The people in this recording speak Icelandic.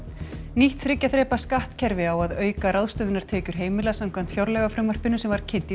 nýtt þriggja þrepa skattkerfi á að auka ráðstöfunartekjur heimila samkvæmt fjárlagafrumvarpinu sem kynnt